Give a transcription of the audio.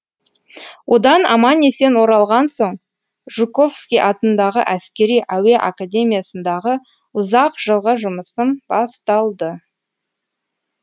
одан аман есен оралған соң жуковский атындағы әскери әуе академиясындағы ұзақ жылғы жұмысым басталды